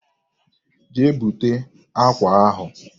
Jee bute akwa ahụ.